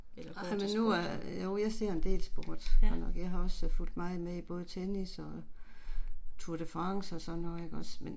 Eller går til sport. Ja